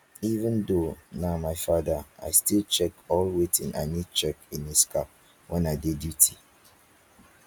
even though nah my father i still check all wetin i need check in his car when i dey duty